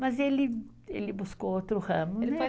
Mas ele, ele buscou outro ramo, né?